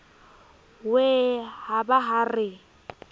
wee ha ba ha re